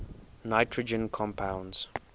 nitrogen compounds